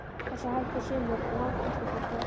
Og svo hættu sumir en langflestir héldu áfram.